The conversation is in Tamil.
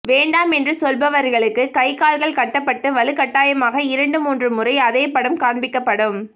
வேண்டாம் என்று சொல்பவர்களுக்கு கை கால்கள் கட்டப்பட்டு வலுக்கட்டாயமாக இரண்டு மூன்று முறை அதே படம் காண்பிக்கப்படும்